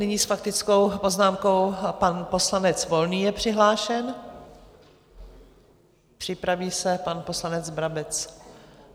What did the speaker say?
Nyní s faktickou poznámkou pan poslanec Volný je přihlášen, připraví se pan poslanec Brabec.